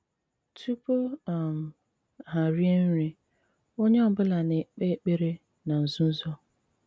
Tùpù um ha rìè nri, onye ọ̀bùla na-ekpè ekpèrè ná nzùzò.